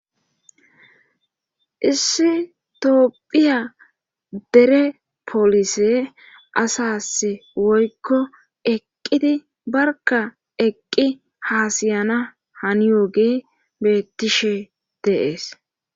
issi tophphiya dere polise asas woykko eqqidi barka eqqi haasiyana haniyooge bettishe dees.